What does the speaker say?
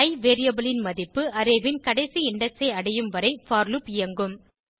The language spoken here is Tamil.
இ வேரியபிள் ன் மதிப்பு அரே ன் கடைசி இண்டெக்ஸ் ஐ அடையும் வரை போர் லூப் இயங்கும்